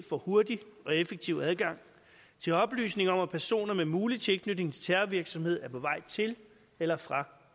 får hurtigt og effektivt adgang til oplysninger om at personer med mulig tilknytning til terrorvirksomhed er på vej til eller fra